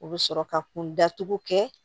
U bɛ sɔrɔ ka kun datugu kɛ